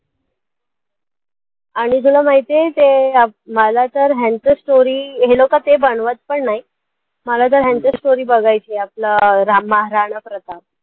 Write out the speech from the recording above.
आणि तुला माहिती आहे ते अं मला तर ह्यांच story हे लोकं ते बनवत पण नाही, मला तर ह्यांच story बघायची आहे आपलं अं महाराणा प्रताप